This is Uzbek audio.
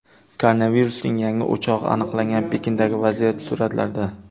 Koronavirusning yangi o‘chog‘i aniqlangan Pekindagi vaziyat suratlarda.